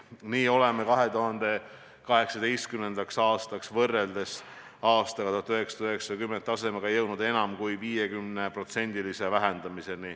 Nii oleme 2018. aastaks võrreldes 1990. aasta tasemega vähendanud heidet enam kui 50%.